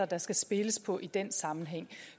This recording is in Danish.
der skal spilles på i den sammenhæng